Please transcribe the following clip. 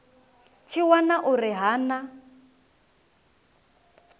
tshi wana uri ha na